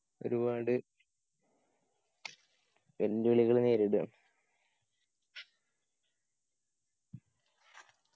ഒരുപ്പാട് വെല്ലുവിളികള് നേരിടയാണ്